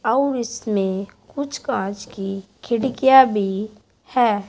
और इसमें कुछ कांच की खिड़कियां भी हैं।